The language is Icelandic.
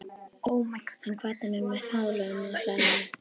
Hann kvaddi mig með faðmlögum á hlaðinu.